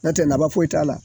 Nɔtɛ naba foyi t'a la